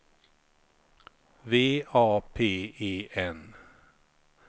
V A P E N